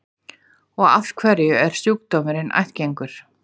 Og af hverju er sjúkdómurinn ættgengur?